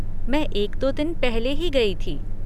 मैं एक दो दिन पहले ही गई थी।